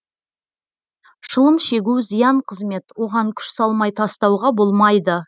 шылым шегу зиян қызмет оған күш салмай тастауға болмайды